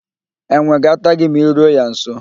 Enwe ga-ata gị ma I ruo ya nso.